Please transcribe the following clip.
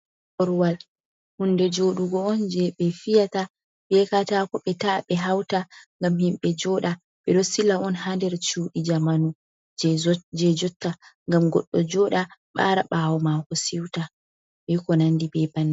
Korwal hunde joɗugo on je ɓe fiyata be katako ɓe ta’a ɓe hauta ngam himɓɓe joɗa, ɓe ɗo sila on ha ndar cuɗi jamanu je jotta ngam goɗɗo joɗa ɓara ɓawo mako siuta ɓe konandi be bannin.